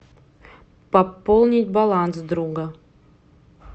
пополнить баланс друга